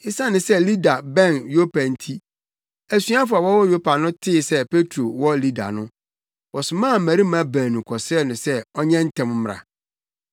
Esiane sɛ Lida bɛn Yopa nti, asuafo a wɔwɔ Yopa no tee sɛ Petro wɔ Lida no, wɔsomaa mmarima baanu kɔsrɛɛ no sɛ ɔnyɛ ntɛm mmra.